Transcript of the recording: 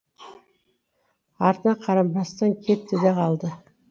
артына қарамастан кетті де қалды